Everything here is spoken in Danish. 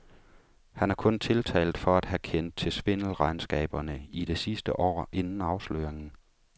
Han er kun tiltalt for at have kendt til svindelregnskaberne i det sidste år inden afsløringen.